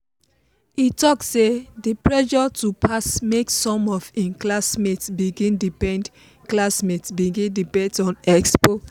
e talk say the pressure to pass make some of im classmates begin depend classmates begin depend on expo.